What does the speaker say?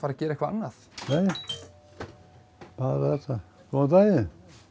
að gera eitthvað annað nei bara þetta góðan daginn